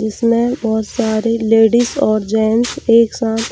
जिसमें बहुत सारे लेडिस और जेंट्स एक साथ--